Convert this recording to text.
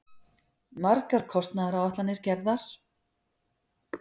Margar kostnaðaráætlanir gerðar.